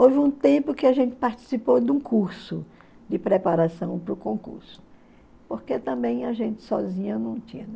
Houve um tempo que a gente participou de um curso de preparação para o concurso, porque também a gente sozinha não tinha.